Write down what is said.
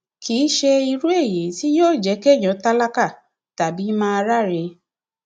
kì í ṣe irú èyí tí yóò jẹ kéèyàn tálákà tàbí máa ráre